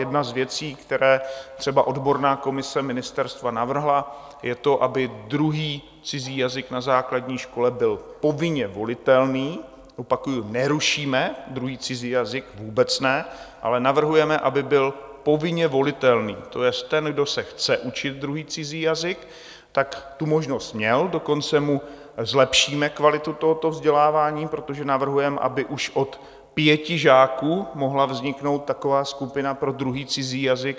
Jedna z věcí, které třeba odborná komise ministerstva navrhla, je to, aby druhý cizí jazyk na základní škole byl povinně volitelný - opakuji, nerušíme druhý cizí jazyk, vůbec ne, ale navrhujeme, aby byl povinně volitelný, to jest ten, kdo se chce učit druhý cizí jazyk, tak tu možnost měl, dokonce mu zlepšíme kvalitu tohoto vzdělávání, protože navrhujeme, aby už od pěti žáků mohla vzniknout taková skupina pro druhý cizí jazyk.